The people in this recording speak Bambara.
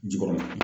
Ji kɔrɔ